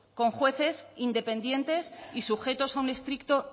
con jueces independientes y sujetos a un estricto